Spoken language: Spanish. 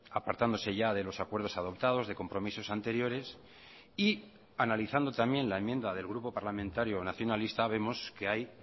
apartándose ya de los acuerdos adoptados de compromisos anteriores y analizando también la enmienda del grupo parlamentario nacionalista vemos que hay